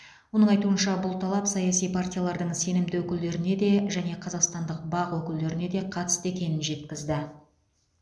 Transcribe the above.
оның айтуынша бұл талап саяси партиялардың сенімді өкілдеріне де және қазақстандық бақ өкілдеріне де қатысты екенін жеткізді